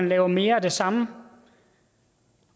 lave mere af det samme